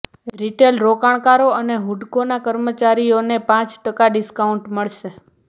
retail રોકાણકારો અને હુડકોના કર્મચારીઓને પાંચ ટકા ડિસ્કાઉન્ટ મળશે